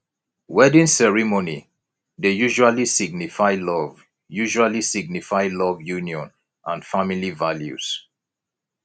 wedding ceremony dey usually signify love usually signify love union and family values